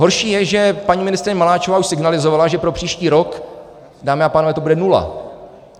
Horší je, že paní ministryně Maláčová už signalizovala, že pro příští rok, dámy a pánové, to bude nula.